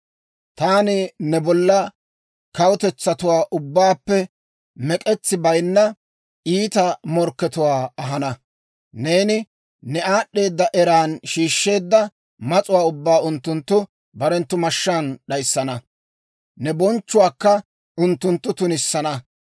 taani ne bolla kawutetsatuwaa ubbaappe mek'etsi bayinna, iita morkkatuwaa ahana; neeni ne aad'd'eeda eran shiishsheedda mas'uwaa ubbaa unttunttu barenttu mashshaan d'ayissana; ne bonchchuwaakka unttunttu tunissana.